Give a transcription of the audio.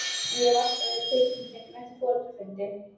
Ég hafði alltaf verið tekinn í gegn eftir foreldrafundi.